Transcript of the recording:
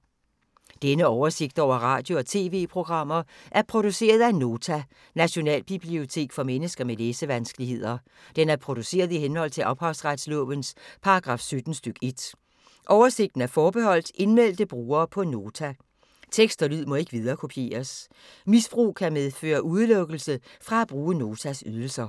Denne oversigt over radio og TV-programmer er produceret af Nota, Nationalbibliotek for mennesker med læsevanskeligheder. Den er produceret i henhold til ophavsretslovens paragraf 17 stk. 1. Oversigten er forbeholdt indmeldte brugere på Nota. Tekst og lyd må ikke viderekopieres. Misbrug kan medføre udelukkelse fra at bruge Notas ydelser.